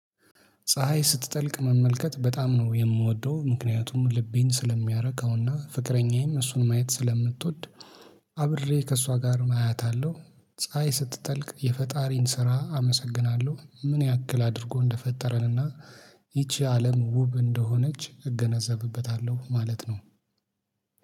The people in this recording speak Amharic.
ፀሀይ ስትጠልቅ መመልከት በጣም ነው የምወደው ምክንያቱም ልቤን ስለሚያረካውና ፍቅረኛዬም እሱን ማየት ስለምትወድ አብሬ ከእሷ ጋር አያታለሁ። ፀሀይ ስትጠልቅ የፈጣሪን ስራ አመሰግናለሁ ምን ያክል አድርጎ እንደፈጠረንና ይቺ አለም ውብ እንደሆነች እገነዘብበታለሁ ማለት ነው